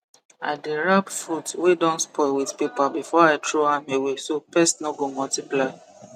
i dey wrap fruit wey don spoil with paper before i throw am away so pest no go multiply